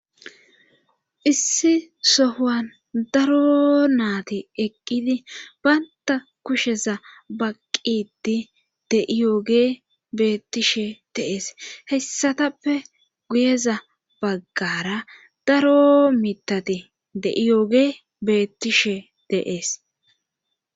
Issi sohan daro naati eqqidi baynta kusheza baqqidi de'iyoogey beettishshe de'ees hessatappe guyeza baggara daro mitati de'iyoogey beettishshe de'ees